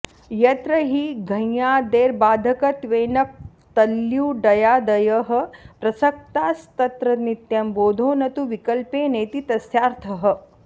यत्र हि घञादेर्बाधकत्वेन क्तल्युडादयः प्रसक्तास्तत्र नित्यं बोधो न तु विकल्पेनेति तस्यार्थः